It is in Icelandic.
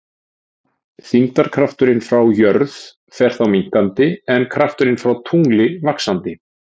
Þyngdarkrafturinn frá jörð fer þá minnkandi en krafturinn frá tungli vaxandi.